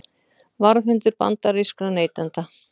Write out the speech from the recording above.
Varðhundur bandarískra neytenda